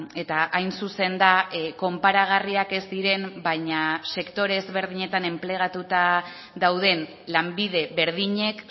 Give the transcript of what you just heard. eta hain zuzen da konparagarriak ez diren baina sektore ezberdinetan enplegatuta dauden lanbide berdinek